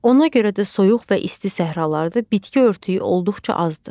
Ona görə də soyuq və isti səhralarda bitki örtüyü olduqca azdır.